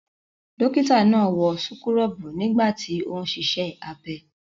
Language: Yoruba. Dọ́kítá náà wọ súkúrọ́bù nígbà tí ó ń ṣiṣẹ́ abẹ.